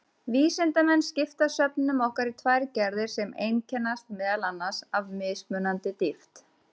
Vísindamenn skipta svefninum okkar í tvær gerðir sem einkennast meðal annars af mismunandi dýpt.